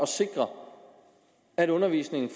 sikre at undervisningen